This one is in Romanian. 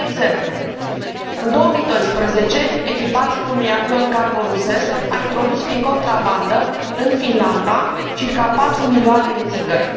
De exemplu, în 2012, echipajul unui avion cargo rusesc a introdus prin contrabandă în Finlanda circa 4 milioane de țigări.